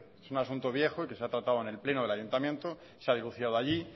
es un asunto viejo y que se ha tratado en el pleno del ayuntamiento se ha denunciado allí